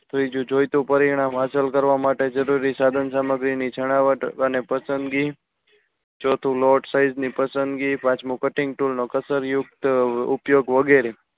ત્રીજું જોઈતું પરિણામ હાસલ કરવા માટે જરૂરી સાધનસામગ્રી ની જણાવત અને પસંદગી ચોથું note size ની પસંદગી પાંચમું cutting tool કસર યુક્ત ઉપયોગ વગેરે